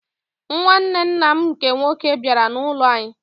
Nwanne nna m nke nwoke bịara n'ụlọ anyị.